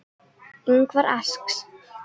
Ingvar asks.